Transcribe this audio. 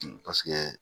Paseke